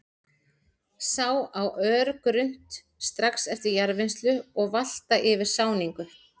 Sá á örgrunnt, strax eftir jarðvinnslu og valta eftir sáningu.